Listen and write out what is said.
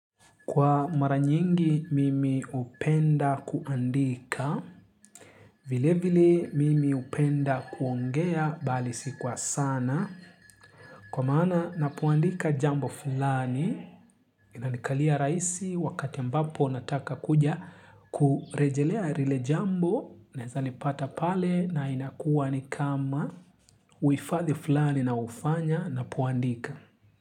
Kwa mara nyingi mimi hupenda kuandika, vile vile mimi hupenda kuongea bali si kwa sana. Kwa maana napoandika jambo fulani, inanikalia rahisi wakati ambapo nataka kuja kurejelea rile jambo na naeza lipata pale na inakuwa ni kama uhifadhi fulani na ufanya napoandika.